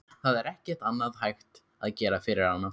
Það er ekkert annað hægt að gera fyrir hana.